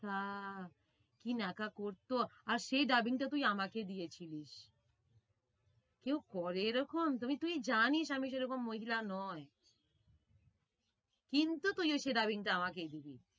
তা কি ন্যাকা করতো। আর সেই dubbing টা তুই আমাকে দিয়েছিলিস। কেউ করে এরকম তবে তুই জানিস আমি সেরকম মহিলা নয়। কিন্তু তুই ওই সেই dubbing টা আমাকেই দিবি।